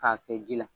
K'a kɛ ji la